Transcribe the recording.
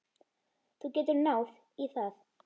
Þú getur náð í það.